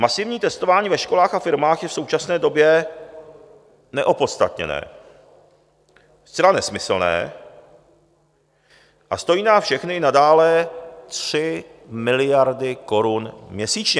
Masivní testování ve školách a firmách je v současné době neopodstatněné, zcela nesmyslné a stojí nás všechny nadále 3 miliardy korun měsíčně.